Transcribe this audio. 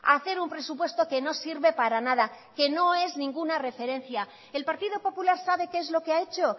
hacer un presupuesto que no sirve para nada que no es ninguna referencia el partido popular sabe qué es lo que ha hecho